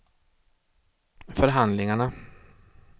förhandlingarna